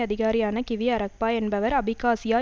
அதிகாரியான Kiwi Arakba என்பவர் அபிகாசியா